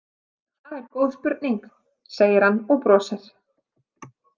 Það er góð spurning, segir hann og brosir.